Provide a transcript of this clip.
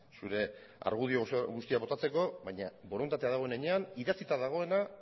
zure argudio guztiak botatzeko baina borondatea dagoen heinean idatzita dagoena